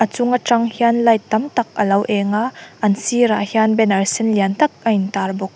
a chung atang hian light tam tak alo eng a an sirah hian banner sen lian tak a in tar bawk.